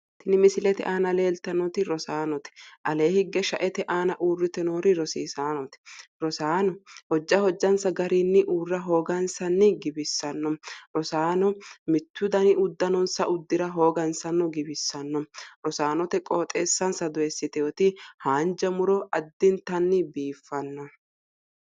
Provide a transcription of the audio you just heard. Tini misilete aana leelitannoti rosaanote aleeni higge shaete aana urite noori rosiisaanote rosaano hojja hojjanisa garinni uurra hooganisanni giwissano rosaano mittu dani uddanonisa uddira hooganisano giwissano rosaanote qooxesanisa dooyisitewoot haanja muro addinitanni biifanno